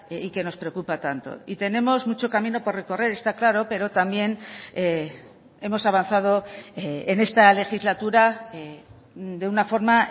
y que nos preocupa tanto y tenemos mucho camino por recorrer está claro pero también hemos avanzado en esta legislatura de una forma